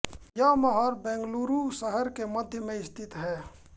यह महल बंगलूरू शहर के मध्य में स्थित है